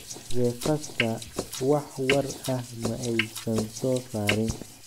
The Fasta wax war ah ma aysan soo saarin.